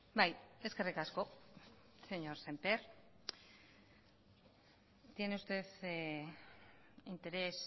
bai eskerrik asko señor semper tiene usted interés